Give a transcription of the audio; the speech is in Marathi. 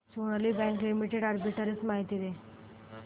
सोनाली बँक लिमिटेड आर्बिट्रेज माहिती दे